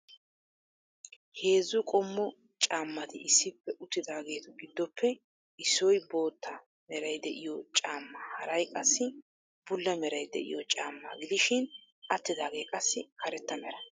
Heezzu qommo caammati issippe uttidaageetu giddoppe issoy bootta meray de'iyo caamma haray qassi bulla meray de'iyo caammaa gidishin attidaagee qassi karetta mera.